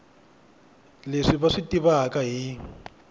leswi va swi tivaka hi